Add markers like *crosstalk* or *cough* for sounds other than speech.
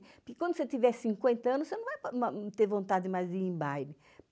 Porque quando você tiver cinquenta anos, você não vai *unintelligible* ter vontade mais de ir em baile.